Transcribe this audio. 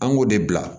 An k'o de bila